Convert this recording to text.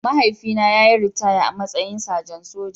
Mahaifina ya yi ritaya a matsayin sajan soja